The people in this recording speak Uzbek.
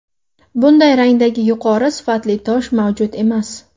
Bunday rangdagi yuqori sifatli tosh mavjud emas.